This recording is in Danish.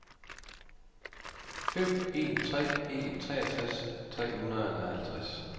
fem en tre en treogtres tre hundrede og halvtreds